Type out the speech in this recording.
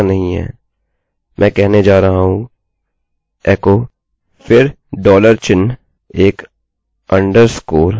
मैं कहने जा रहा हूँ एको फिर डॉलर चिन्हएक underscore अधोरेखा और गेटget